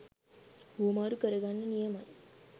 හුවමාරු කරගන්න නියමයි.